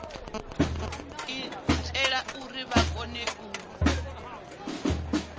itela uri vha kone u